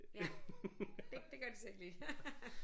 Ja det det gør de så ikke lige